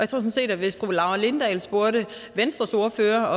sådan set at hvis fru laura lindahl spurgte venstres ordfører